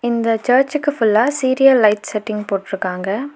இந்த சர்ச்க்கு ஃபுல்லா சீரியல் லைட் செட்டிங் போட்ருக்காங்க.